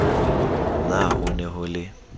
na ho ne ho le